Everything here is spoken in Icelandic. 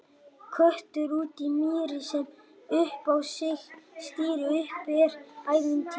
Köttur úti í mýri, setti upp á sig stýri, úti er ævintýri!